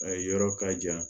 A ye yɔrɔ ka jan